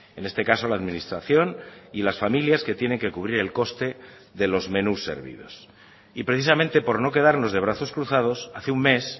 en este caso la administración y las familias que tienen que cubrir el coste de los menús servidos y precisamente por no quedarnos de brazos cruzados hace un mes